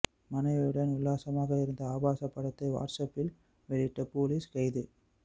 மாணவியுடன் உல்லாசமாக இருந்த ஆபாச படத்தை வாட்ஸ்அப்பில் வெளியிட்ட போலீஸ் கைது